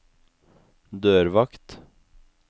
dørvakt